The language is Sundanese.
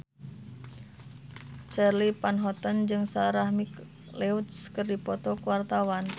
Charly Van Houten jeung Sarah McLeod keur dipoto ku wartawan